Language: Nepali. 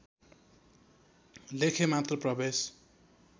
लेखे मात्र प्रवेश